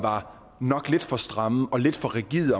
nok var lidt for stramme og lidt for rigide